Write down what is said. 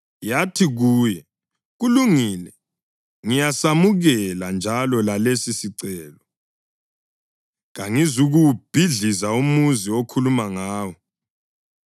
Yathi kuye, “Kulungile, ngiyasamukela njalo lalesisicelo; kangizukuwubhidliza umuzi okhuluma ngawo.